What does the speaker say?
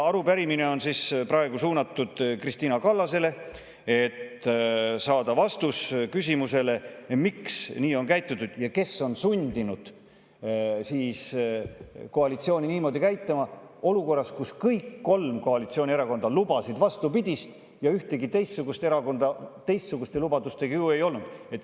Arupärimine on Kristina Kallasele, et saada vastus küsimusele, miks nii on käitutud ja kes on sundinud koalitsiooni niimoodi käituma olukorras, kus kõik kolm koalitsioonierakonda lubasid vastupidist ja ühtegi teistsugust erakonda teistsuguste lubadustega ju ei olnud.